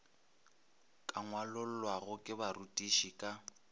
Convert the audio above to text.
ka ngwalollwago ke barutiši ka